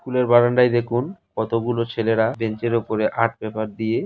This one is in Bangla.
স্কুলের বারান্দায় দেখুন কতগুলো ছেলেরা বেঞ্চের উপরে আর্ট পেপার দিয়ে।